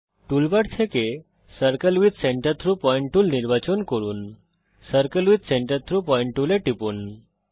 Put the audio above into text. টুল bar থেকে circle with centre through point tool নির্বাচন করুন circle with centre through point টুলে টিপুন